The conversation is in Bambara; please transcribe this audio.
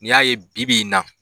N'i y'a ye bibi in na.